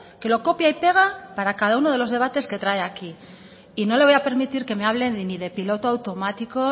que lo copia y pega para cada uno de los debates que trae aquí y no le voy a permitir que me hable ni de piloto automático